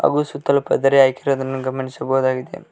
ಹಾಗು ಸುತ್ತಲು ಪದರೆ ಹಾಕಿರುವುದನ್ನು ಗಮನಿಸಬಹುದಾಗಿದೆ.